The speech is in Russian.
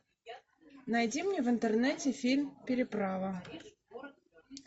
найди мне в интернете фильм переправа